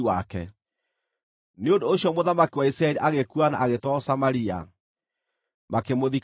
Nĩ ũndũ ũcio mũthamaki wa Isiraeli agĩkua na agĩtwarwo Samaria, makĩmũthika kuo.